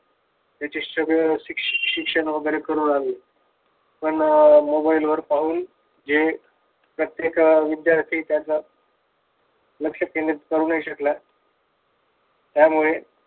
त्याचं सगळं शिक्षण वगैरे करू लागले पण अह मोबाईल वर पाहून जे प्रत्येक विद्यार्थी त्याच लक्ष केंद्रित करू नाही शकला. त्यामुळे